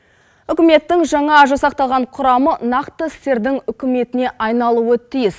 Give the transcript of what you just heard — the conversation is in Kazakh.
үкіметтің жаңа жасақталған құрамы нақты істердің үкіметіне айналуы тиіс